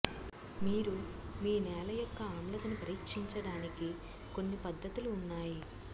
మీరు మీ నేల యొక్క ఆమ్లతను పరీక్షించడానికి కొన్ని పద్ధతులు ఉన్నాయి